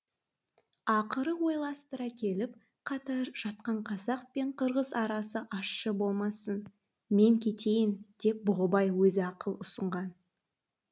ақыры ойластыра келіп қатар жатқан қазақ пен қырғыз арасы ащы болмасын мен кетейін деп бұғыбай өзі ақыл ұсынған